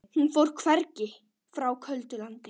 Hún fór hvergi, frá köldu landi.